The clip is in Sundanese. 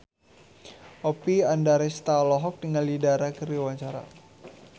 Oppie Andaresta olohok ningali Dara keur diwawancara